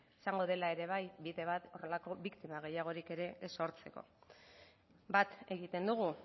izango dela ere bai bide horrelako biktima gehiagorik ere ez sortzeko bat egiten dugu